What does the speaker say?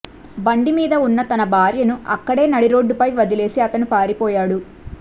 బండి మీద ఉన్న తన భార్యను అక్కడే నడిరోడ్డుపై వదిలేసి అతను పారిపోయాడు